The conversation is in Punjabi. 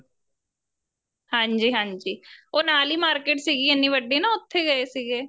ਹਾਂਜੀ ਹਾਂਜੀ ਉਹ ਨਾਲ ਈ market ਸੀਗੀ ਨਾ ਇੰਨੀ ਵੱਡੀ ਉਥੇ ਗਏ ਸੀਗੇ